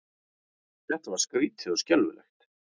Þetta var skrýtið og skelfilegt.